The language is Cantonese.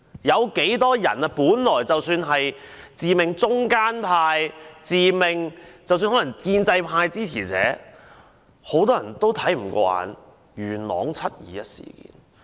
很多人本來自命是中間派，甚或是建制派支持者，但都看不過眼元朗"七二一"事件。